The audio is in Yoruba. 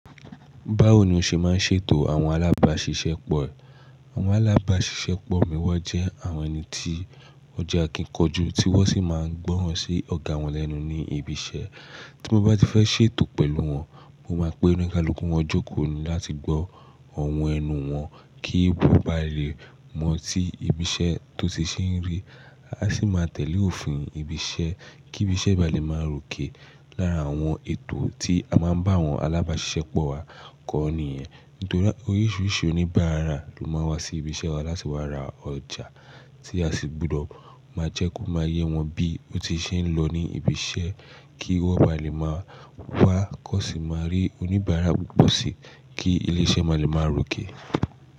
Báwo ni o ṣe máa ń ṣètò àwọn alábàáṣiṣẹ́ pọ̀ e? Àwọn alábàáṣiṣẹ́ pọ̀ mìí won jẹ́ ẹni ti won je akikanjú, tí wọ́n sì máa ń gbọ́ràn sí ọ̀gá wọn lẹ́nu ní ibi iṣẹ́. Tí mo bá ti fẹ́ ṣètò pẹ̀lú wọn, mo máa pe onikaluuku wọn jókòó ni láti gbọ́ oro ẹnu wọn kí ebú bá lè mọ̀ tí ibi iṣẹ́ tó ti ṣe ń rí, a sì máa tẹ̀lé òfin ibi iṣẹ́ kí ibi iṣẹ́ ba lè máa ròkè lára àwọn ètò tí a máa ń bá àwọn alábàáṣiṣẹ́ pọ̀ wa kọ́ ni ìyẹn. Torí oríṣiríṣi oníbàárà ló máa ń wá sí ibi iṣẹ́ wa láti wá ra ọjà tí a sì gbọdọ̀ máa jẹ́ kó máa yé wọn bí ó ti ṣe ń lọ ní ibi iṣẹ́ kí wọ́n ba lè máa wá kó sì máa rí oníbàárà púpọ̀ sí i kí ilé iṣẹ́ máa lè máa ròkè.